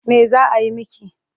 Me za a yi miki?